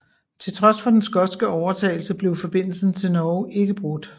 Til trods for den skotske overtagelse blev forbindelsen til Norge ikke brudt